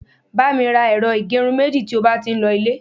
ba mi ra ẹrọ igerun meji ti o ba ti n lo ile